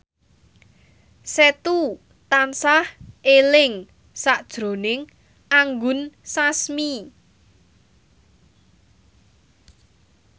Setu tansah eling sakjroning Anggun Sasmi